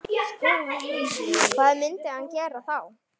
Hvað myndi hann gera þá?